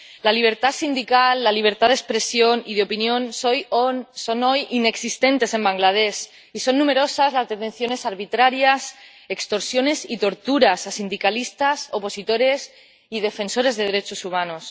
La libertad sindical, la libertad de expresión y de opinión son hoy inexistentes en Bangladés, y son numerosas las detenciones arbitrarias, extorsiones y torturas a sindicalistas, opositores y defensores de derechos humanos.